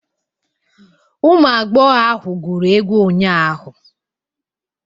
Ụmụ agbọghọ ahụ gwụrụ egwu ụnyahụ.